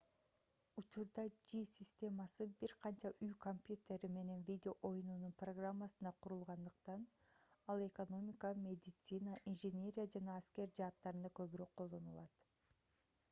учурда жи системасы бир канча үй компьютери менен видео оюнунун программасында курулгандыктан ал экономика медицина инженерия жана аскер жааттарында көбүрөөк колдонулат